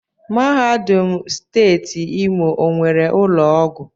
Mahadum Steeti Imo onwere ụlọ ọgwụ?